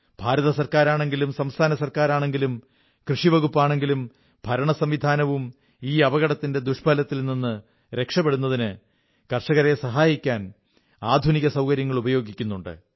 ഭാരത സർക്കാരാണെങ്കിലും സംസ്ഥാന സർക്കാരാണെങ്കിലും കൃഷി വകുപ്പാണെങ്കിലും ഭരണസംവിധാനവും ഈ അപകടത്തിന്റെ ദുഷ്ഫലത്തിൽ നിന്ന് രക്ഷപ്പെടുന്നതിന് കർഷകരെ സഹായിക്കാൻ ആധുനിക സൌകര്യങ്ങൾ ഉപയോഗിക്കുന്നുണ്ട്